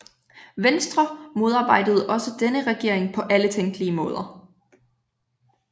Venstre modarbejdede også denne regering på alle tænkelige måder